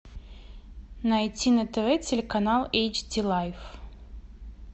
найти на тв телеканал эйч ди лайф